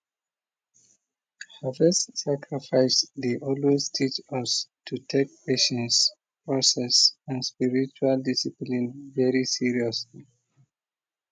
harvest sacrifice dey always teach us to take patience process and spiritual discipline very seriously